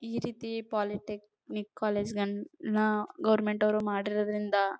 ಈ ರೀತಿ polytechnic college ಗಳನ್ನೂ ಗವರ್ನಮೆಂಟ್ ನವರು ಮಾಡಿರೋದ್ರಿಂದ.